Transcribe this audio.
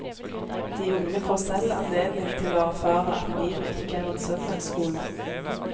De unge får selv anledning til å erfare at livet ikke er en søndagsskole.